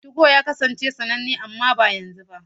2go ya kasance sananne amma ba yanzu ba.